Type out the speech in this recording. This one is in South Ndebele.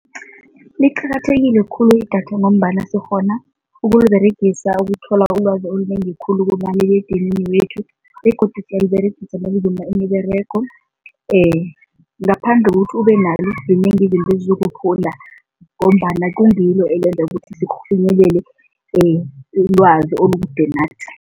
Liqakathekile khulu idatha ngombana sikghona ukuliberegisa ukuthola ulwazi olunengi khulu kumaliledinini wethu begodu siyaliberegisa nokuzuma imiberego ngaphandle kokuthi ubenalo, zinengi izinto ezizokuphunda ngombana kungilo elenza ukuthi ilwazi olukude nathi.